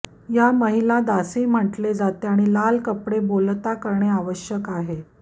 या महिला दासी म्हटले जाते आणि लाल कपडे बोलता करणे आवश्यक आहे